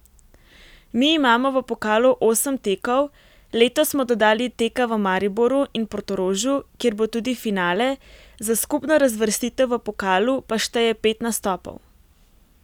Mi imamo v pokalu osem tekov, letos smo dodali teka v Mariboru in Portorožu, kjer bo tudi finale, za skupno razvrstitev v pokalu pa šteje pet nastopov.